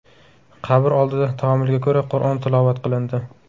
Qabr oldida taomilga ko‘ra, Qur’on tilovat qilindi.